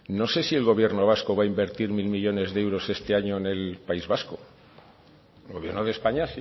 no sé si el gobierno vasco va a invertir mil millónes de euros este año en el país vasco el gobierno de españa